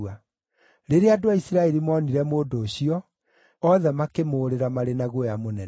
Rĩrĩa andũ a Isiraeli moonire mũndũ ũcio, othe makĩmũũrĩra marĩ na guoya mũnene.